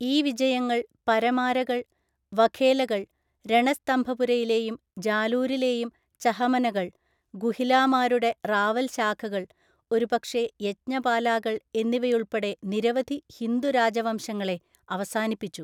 ഈ വിജയങ്ങൾ പരമാരകൾ, വഘേലകൾ, രണസ്തംഭപുരയിലെയും ജാലൂരിലെയും ചഹമനകൾ, ഗുഹിലാമാരുടെ റാവൽ ശാഖകൾ, ഒരുപക്ഷേ യജ്ഞപാലാകൾ എന്നിവയുൾപ്പെടെ നിരവധി ഹിന്ദു രാജവംശങ്ങളെ അവസാനിപ്പിച്ചു.